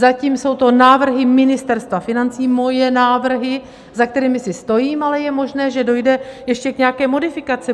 Zatím jsou to návrhy Ministerstva financí, moje návrhy, za kterými si stojím, ale je možné, že dojde ještě k nějaké modifikaci.